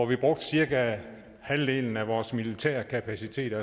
vi brugte cirka halvdelen af vores militære kapacitet